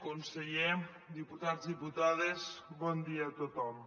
conseller diputats diputades bon dia a tothom